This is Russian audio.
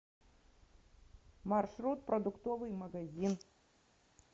маршрут продуктовый магазин